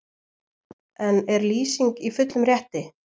En er Lýsing í fullum rétti?